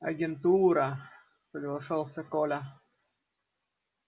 агентура соглашался коля